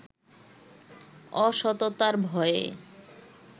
অসততার ভয়ে